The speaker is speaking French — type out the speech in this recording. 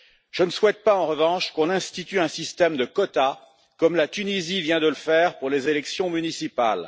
Je ne souhaite pas en revanche qu'on institue un système de quotas, comme la Tunisie vient de le faire pour les élections municipales.